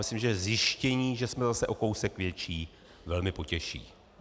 Myslím, že zjištění, že jsme zase o kousek větší, velmi potěší.